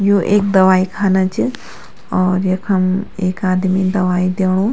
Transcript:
यू एक दवाई खाना च और यखम एक आदमी दवाई दयेणु।